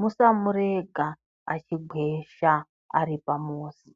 Musamurega achigwesha ari pamuzi.